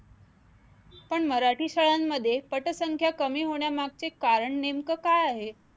पण मराठी शाळांमध्ये पटसंख्या कमी होण्यामागचे कारण नेमकं काय आहे?